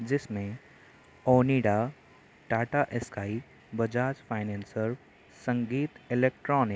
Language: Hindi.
जिसमे Tata sky Bajaj financer Sangeet electronics --